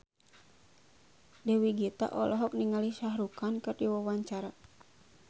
Dewi Gita olohok ningali Shah Rukh Khan keur diwawancara